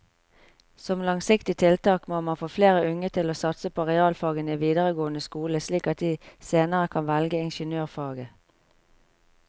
Som langsiktig tiltak må man få flere unge til å satse på realfagene i videregående skole slik at de senere kan velge ingeniørfaget.